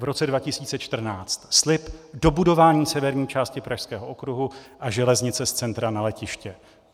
V roce 2014 slib dobudování severní části Pražského okruhu a železnice z centra na letiště.